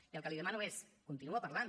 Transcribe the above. i el que li demano és continuar parlant